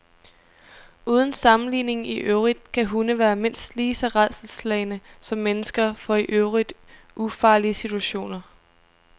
Uden sammenligning i øvrigt kan hunde være mindst lige så rædselsslagne som mennesker for i øvrigt ufarlige situationer.